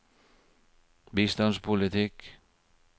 bistandspolitikk